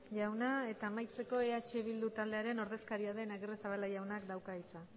jauna eta amaitzeko eh bildu taldearen ordezkaria den agirrezabala jaunak dauka hitza